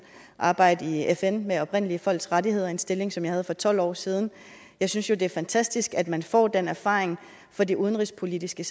arbejde i fn med oprindelige folks rettigheder en stilling som jeg havde for tolv år siden jeg synes jo det er fantastisk at man får den erfaring fra det udenrigspolitiske